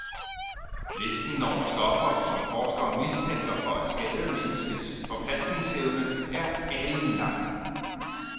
Listen over stoffer, som forskere mistænker for at skade menneskets forplantningsevne, er alenlang.